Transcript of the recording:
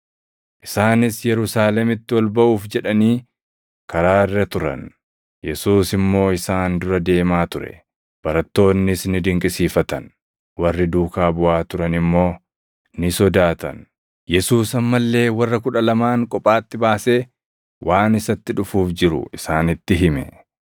Isaanis Yerusaalemitti ol baʼuuf jedhanii karaa irra turan; Yesuus immoo isaan dura deemaa ture; barattoonnis ni dinqisiifatan; warri duukaa buʼaa turan immoo ni sodaatan. Yesuus amma illee warra kudha lamaan kophaatti baasee waan isatti dhufuuf jiru isaanitti hime.